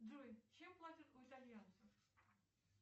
джой чем платят у итальянцев